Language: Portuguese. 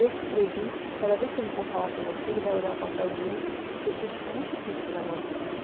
Eu escrevi, cada vez que ele for falar com você, ele vai olhar o papelzinho, porque ele disse que está muito difícil gravar o seu nome.